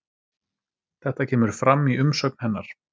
Þetta kemur fram í umsögn hennar